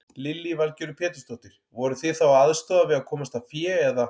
Lillý Valgerður Pétursdóttir: Voruð þið þá að aðstoða við að komast að fé eða?